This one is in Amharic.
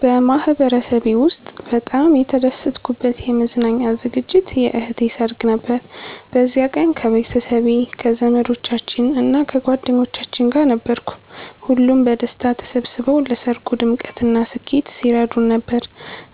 በማህበረሰቤ ውስጥ በጣም የተደሰትኩበት የመዝናኛ ዝግጅት የእህቴ ሰርግ ነበር። በዚያ ቀን ከቤተሰቤ፣ ከዘመዶቻችን እና ከጓደኞቻችን ጋር ነበርኩ። ሁሉም በደስታ ተሰብስበው ለሰርጉ ድምቀትና ስኬት ሲረዱን ነበር፣